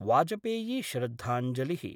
वाजपेयीश्रद्धांजलि: